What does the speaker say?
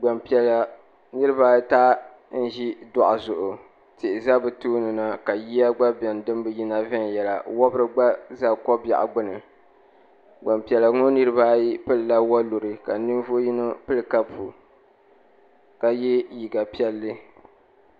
Gbanpiɛla niriba ata n ʒi dɔɣu zuɣu tihi za bi tooni na ka yiya gba bɛni din bi yina viɛnyɛla wɔbiri gba za kɔbɛɣu gbuni gbanpiɛla ŋɔ niriba ayi pili la wɔluri ka ninvuɣu yino pili kapu ka yɛ liiga piɛlli.